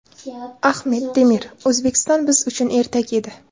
Ahmet Demir: O‘zbekiston biz uchun ertak edi.